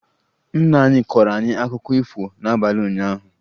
Nna anyị kọọrọ anyị akụkọ ifo n'abalị ụnyaahụ